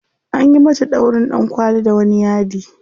Anyi mata ɗaurin ɗankwali da wani yadi.